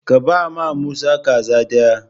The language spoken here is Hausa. Ka bama Musa kaza ɗaya!